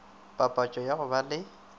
papatšo ya go ba le